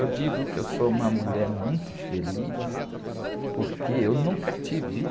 Eu digo que eu sou uma mulher muito feliz porque eu nunca devi.